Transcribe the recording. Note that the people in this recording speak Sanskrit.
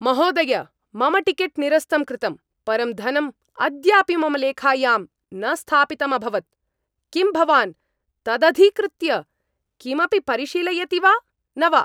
महोदय! मम टिकेट् निरस्तं कृतम्, परं धनं अद्यापि मम लेखायां न स्थापितम् अभवत्। किं भवान् तदधिकृत्य किमपि परिशीलयति वा न वा?